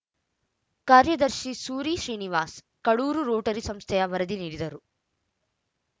ಕಾರ್ಯದರ್ಶಿ ಸೂರಿ ಶ್ರೀನಿವಾಸ್‌ ಕಡೂರು ರೋಟರಿ ಸಂಸ್ಥೆಯ ವರದಿ ನೀಡಿದರು